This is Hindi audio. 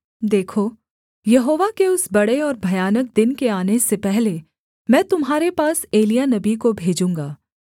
देखो यहोवा के उस बड़े और भयानक दिन के आने से पहले मैं तुम्हारे पास एलिय्याह नबी को भेजूँगा